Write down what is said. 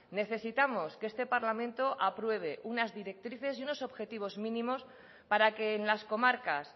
necesitamos que este parlamento apruebe unas directrices y unos objetivos mínimos para que en las comarcas